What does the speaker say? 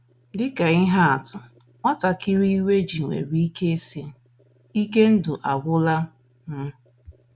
Dị ka ihe atụ, nwatakịrị iwe ji nwere ike ịsị, “ Ike ndụ agwụla m. ”